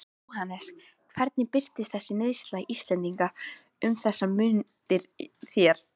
Jóhannes: Hvernig birtist þessi neysla Íslendinga um þessar mundir þér?